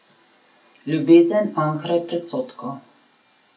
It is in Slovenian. Ljubezen onkraj predsodkov.